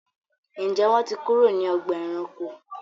Njé wón tí kúrò ní Ọgbà ẹranko?